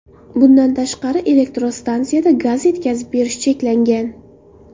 Bundan tashqari, elektrostansiyada gaz yetkazib berish cheklangan.